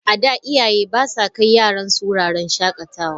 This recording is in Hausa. A da, iyaye ba sa kai yaransu wuraren shakatawa.